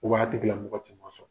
o wagati kɛla mɔgɔ tun ma sɔn.